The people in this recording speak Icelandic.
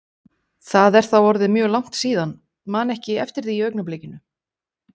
Það er þá orðið mjög langt síðan, man ekki eftir því í augnablikinu.